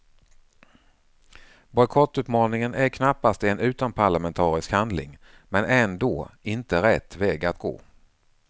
Bojkottuppmaningen är knappast en utomparlamentarisk handling men ändå inte rätt väg att gå.